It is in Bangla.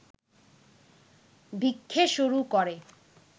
ভিক্ষে শুরু করে